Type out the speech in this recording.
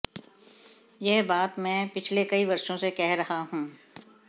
यह बात मैं पिछले कई वर्षों से कह रहा हूं